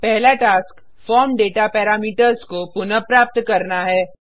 first task form data parameters को पुनः प्राप्त करना है